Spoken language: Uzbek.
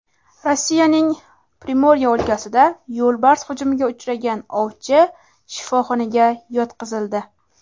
Rossiyaning Primorye o‘lkasida yo‘lbars hujumiga uchragan ovchi shifoxonaga yotqizildi.